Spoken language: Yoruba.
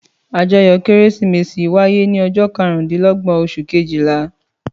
Àjọyọ̀ Kérésìmesì wáyé ní ọjọ́ karùndínlọ́gbọ̀n oṣù kejìlá.